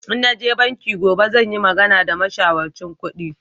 In naje banki gobe zan yi magana da mashawarcin kudi